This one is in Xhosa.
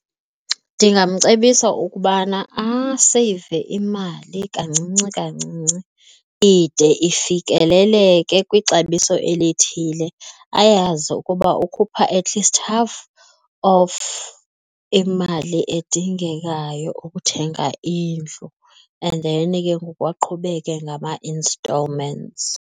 Ndingamcebisa ukubana aseyive imali kancinci kancinci ide ifikeleleke kwixabiso elithile ayazi ukuba ukhupha at least half of imali edingekayo ukuthenga indlu and then ke ngoku aqhubeke ngama-installments.